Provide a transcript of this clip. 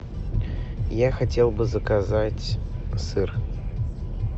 я хотел бы заказать сыр